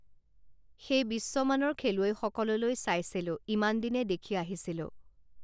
সেই বিশ্বমানৰ খেলুৱৈসকললৈ চাইছিলোঁ ইমানদিনে দেখি আহিছিলোঁ